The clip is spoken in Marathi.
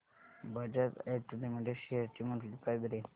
बजाज ऑटो लिमिटेड शेअर्स ची मंथली प्राइस रेंज